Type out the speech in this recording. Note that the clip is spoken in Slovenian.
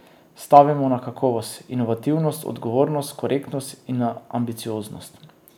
Stavimo na kakovost, inovativnost, odgovornost, korektnost in na ambicioznost.